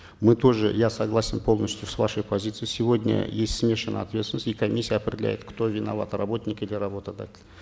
мы тоже я согласен полностью с вашей позицией сегодня есть смешанная ответственность и комиссия определяет кто виноват работник или работодатель